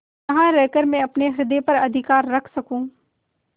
यहाँ रहकर मैं अपने हृदय पर अधिकार रख सकँू